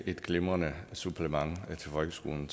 et glimrende supplement til folkeskolen